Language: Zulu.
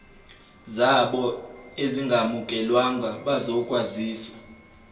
zabo ezingamukelwanga bazokwaziswa